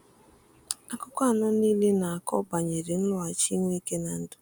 Akụkọ anọ niile na-akọ banyere nloghachi Nweke n’ndụ.